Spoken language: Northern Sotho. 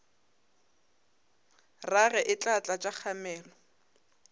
rage e tla tlatša kgamelo